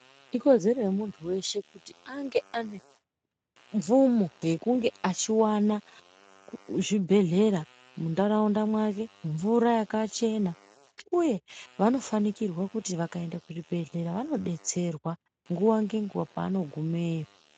Ikodzere yemuntu weshe kuti ange aine mvumo yekunge achiwana chzvibhedhlera muntaraunda make mvura yakachena uye vanofanikirwe kuti vakaenda kuchibhedhlera vanobetserwa nguva nenguva pavanogumeyo .